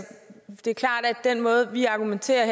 den måde vi argumenterer